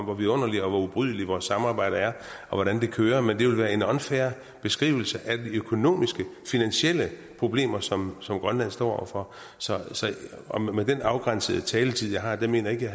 hvor vidunderligt og hvor ubrydeligt vort samarbejde er og hvordan det kører men det ville være en unfair beskrivelse af de økonomiske finansielle problemer som som grønland står over for og med den afgrænsede taletid jeg har mener jeg